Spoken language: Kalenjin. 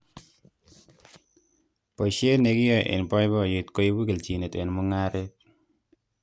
Boishet nekiyae eng' boiboyet koibu keljinet eng' mung'aret